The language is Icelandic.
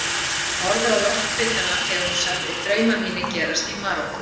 Horfði á loftbitana þegar hún sagði: Draumar mínir gerast í Marokkó.